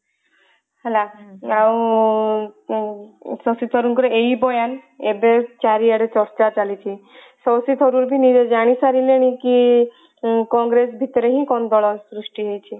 ହେଲା ଆଉ ଶକ୍ତିସ୍ଵରୂପ ଙ୍କର ଏଇ ବୟାନ ଏବେ ଚାରିଆଡେ ଚର୍ଚ୍ଚା ଚାଲିଛି ଶକ୍ତି ସ୍ୱରୂପ ବି ନିଜେ ଜାଣି ସାରିଲେଣି କି କଂଗ୍ରେସ ଭିତରେ ହିଁ ଗଣ୍ଡଗୋଳ ସୃଷ୍ଟି ହେଇଛି